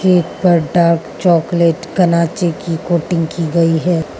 एक पर dark chocolate कराची की कोटिंग की गई है।